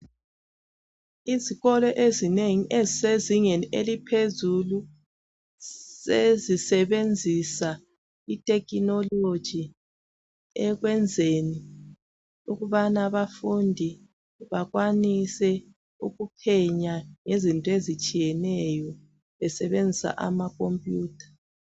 Izikolo ezingeni ezisezingeni eliphezulu sezisebenzisa I technology ekwenzeni ukubana abafundi bekwanise ukuphenya bgezinto ezitshiyeneyo besebenzisa ama computer